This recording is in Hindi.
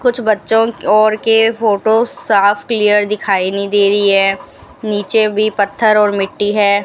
कुछ बच्चों की और के फोटो साफ क्लियर दिखाई नहीं दे रही है नीचे भी पत्थर और मिट्टी है।